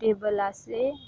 टेबल आसे--